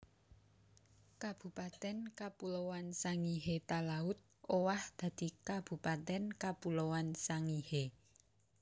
Kabupatèn Kapuloan Sangihe Talaud owah dadi Kabupatèn Kapuloan Sangihe